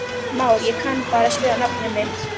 Már: Ég kann bara að skrifa nafnið mitt.